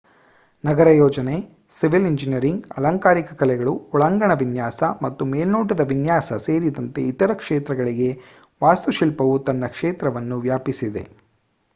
ನಗರ ಯೋಜನೆ civil engineering ಅಲಂಕಾರಿಕ ಕಲೆಗಳು ಒಳಾಂಗಣ ವಿನ್ಯಾಸ ಮತ್ತು ಮೇಲ್ನೋಟದ ವಿನ್ಯಾಸ ಸೇರಿದಂತೆ ಇತರ ಕ್ಷೇತ್ರಗಳಿಗೆ ವಾಸ್ತುಶಿಲ್ಪವು ತನ್ನ ಕ್ಷೇತ್ರವನ್ನು ವ್ಯಾಪಿಸಿದೆ